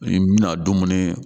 N bɛna dumuni